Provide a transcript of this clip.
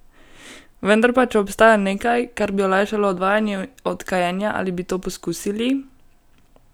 Vendar pa, če obstaja nekaj, kar bi olajšalo odvajanje od kajenja, ali bi to poskusili?